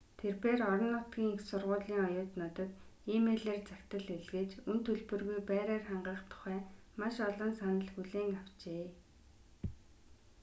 тэрбээр орон нутгийн их сургуулийн оюутнуудад э-мэйлээр захидал илгээж үнэ төлбөргүй байраар хангах тухай маш олон санал хүлээн авчээ